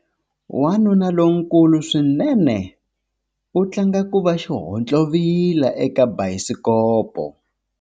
Wanuna lonkulu swinene u tlanga ku va xihontlovila eka bayisikopo.